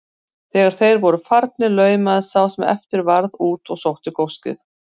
Þegar þeir voru farnir laumaðist sá sem eftir varð út og sótti góssið.